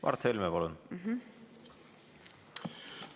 Mart Helme, palun!